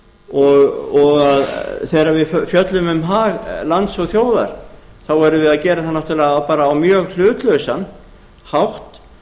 vel og þegar við fjöllum um hag lands og þjóðar þá erum við að gera það náttúrlega á mjög hlutlausan hátt